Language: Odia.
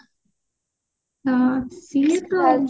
ହୁଁ ସିଏ ତ ଆଉ